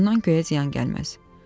Bundan göyə ziyan gəlməz.